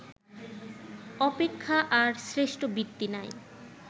অপেক্ষা আর শ্রেষ্ঠ বৃত্তি নাই